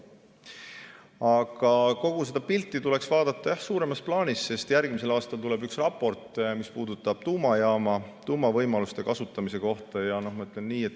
Aga kogu seda pilti tuleks vaadata suuremas plaanis, sest järgmisel aastal tuleb üks raport, mis puudutab tuumajaama, tuumavõimaluste kasutamise kohta.